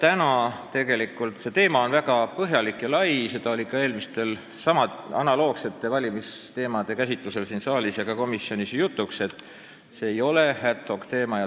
See teema ise on väga põhjalik ja väga lai, analoogsete valimisteemade käsitlusel on siin saalis ja ka komisjonis jutuks olnud, et see ei ole ad-hoc-teema.